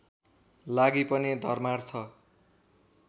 लागि पनि धर्मार्थ